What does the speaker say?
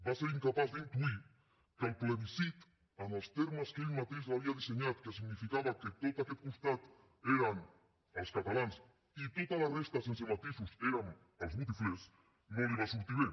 va ser incapaç d’intuir que el plebiscit en els termes que ell mateix l’havia dissenyat que significava que tot aquest costat eren els catalans i tota la resta sense matisos érem els botiflers no li va sortir bé